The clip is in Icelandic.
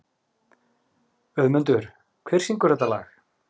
Auðmundur, hver syngur þetta lag?